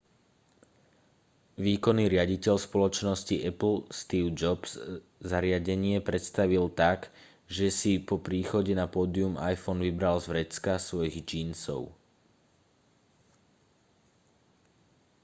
výkonný riaditeľ spoločnosti apple steve jobs zariadenie predstavil tak že si po príchode na pódium iphone vybral z vrecka svojich džínsov